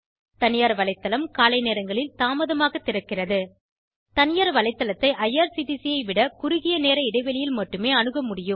தனியார் வலைத்தளம் காலை நேரங்களில் தாமதமாக திறக்கிறது தனியார் வலைத்தளத்தை ஐஆர்சிடிசி ஐ விட குறுகிய நேர இடைவெளியில் மட்டுமே அணுகமுடிகிறது